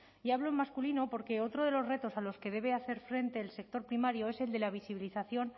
y hablo en masculino porque otro de los retos a los que debe hacer frente el sector primario es el de la visibilización